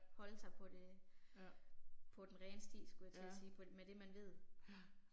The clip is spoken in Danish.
Holde sig på det. På den rene sti skulle jeg til at sige, på med det man ved